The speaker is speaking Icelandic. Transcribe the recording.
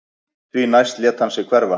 Því næst lét hann sig hverfa